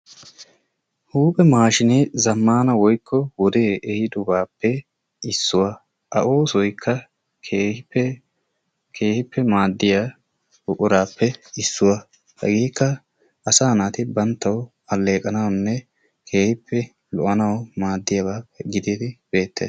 Huuphphe maashshinee zaammana wode ehidobappe issuwa. A oosoykka keehippe keehippe maaddiyaa buquraappe issuwaa. Hegeekka asaa naati banttawu alleqanawunne keehippe lo"oanawu maaddiyaaba giididi beettees.